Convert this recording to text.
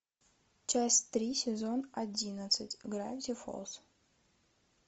часть три сезон одиннадцать гравити фолз